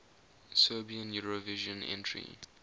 serbian eurovision entry